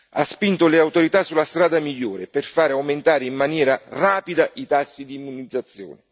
Ha spinto le autorità sulla strada migliore, per fare aumentare in maniera rapida i tassi di immunizzazione.